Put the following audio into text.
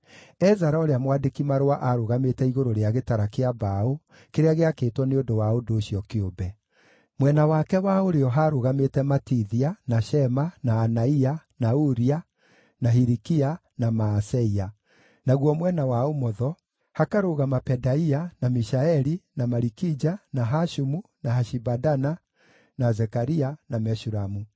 Ezara ũrĩa mwandĩki-marũa aarũgamĩte igũrũ rĩa gĩtara kĩa mbaũ kĩrĩa gĩakĩtwo nĩ ũndũ wa ũndũ ũcio kĩũmbe. Mwena wake wa ũrĩo haarũgamĩte Matithia, na Shema, na Anaia, na Uria, na Hilikia, na Maaseia, naguo mwena wa ũmotho hakarũgama Pedaia, na Mishaeli, na Malikija, na Hashumu, na Hashibadana, na Zekaria, na Meshulamu.